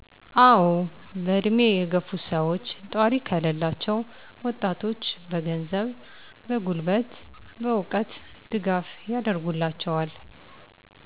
አዎ በዕድሜ የገፉት ሰወች ጧሪ ከለላቸዉ ወጣቶቹ በገንዘብ፣ በጉልበት፣ በእዉቀት ድጋፍ ያደርጉላቸዋል።